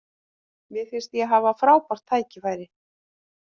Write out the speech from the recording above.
Mér finnst ég hafa frábært tækifæri.